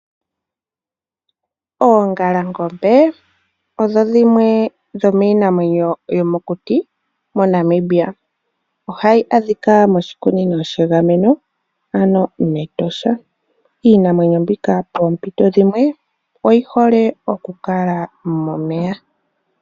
Oongalangombe odho dhimwe dhomiinamwenyo yomokuti MoNamibia. Ohayi adhika moshikunino shegameno, ano mEtosha. Iinamwenyo mbino thimbo limwe oyi hole okukala momeya.